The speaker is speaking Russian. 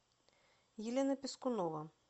елена пискунова